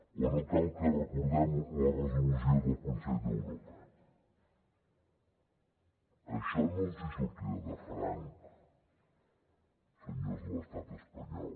o no cal que recordem la resolució del consell d’europa això no els hi sortirà de franc senyors de l’estat espanyol